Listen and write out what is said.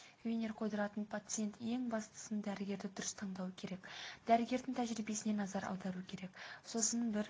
винир қойдыратын пациент ең бастысын дәрігерді дұрыс таңдауы керек дәрігердің тәжірибесіне назар аударуы керек сосын бір